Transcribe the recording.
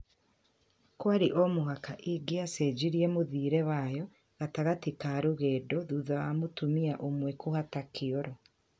Kwarĩ omũhaka ingicenjirie mũthiĩre wayo gatagati ka rũgendo thutha wa mũtumia ũmwe kũhata kioro